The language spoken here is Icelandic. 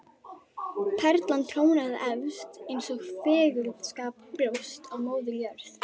Perlan trónaði efst eins og fagurskapað brjóst á Móður jörð.